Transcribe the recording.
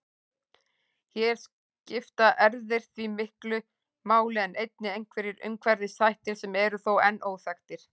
Hér skipta erfðir því miklu máli en einnig einhverjir umhverfisþættir sem eru þó enn óþekktir.